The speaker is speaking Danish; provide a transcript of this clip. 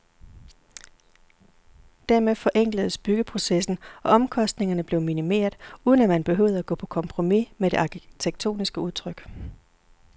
Dermed forenkledes byggeprocessen og omkostningerne blev minimeret, uden at man behøvede at gå på kompromis med det arkitektoniske udtryk.